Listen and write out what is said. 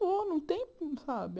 Não vou, não tem, sabe?